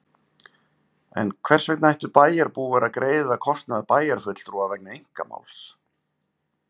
En hvers vegna ættu bæjarbúar að greiða kostnað bæjarfulltrúa vegna einkamáls?